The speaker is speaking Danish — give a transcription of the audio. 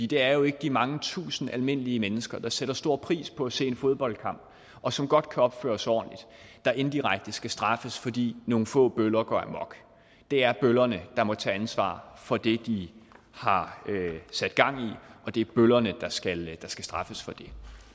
det er jo ikke de mange tusind almindelige mennesker der sætter stor pris på at se en fodboldkamp og som godt kan opføre sig ordentligt der indirekte skal straffes fordi nogle få bøller går amok det er bøllerne der må tage ansvaret for det de har sat gang i og det er bøllerne der skal skal straffes for det